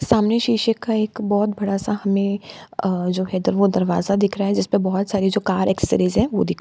सामने शीशे का एक बहोत बड़ा सा हमें अ जो है दर वो दरवाजा दिख रहा है जिसपे बहोत सारी जो कार एक्ससरीज हैं वो दिख रही हैं।